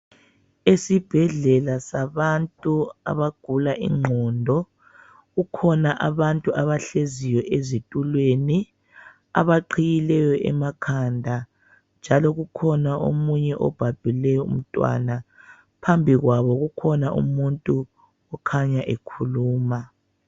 Esibhedlela sabantu abagula inqondo. Kukhona abantu abahleziyo ezitulweni abaqhiyileyo emakhanda njalo kukhona omunye obhabhule umntwana phambi kwabo kukhona umuntu okhanya ekhuluma.